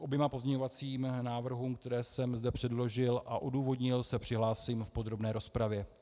K oběma pozměňovacím návrhům, které jsem zde předložil a odůvodnil, se přihlásím v podrobné rozpravě.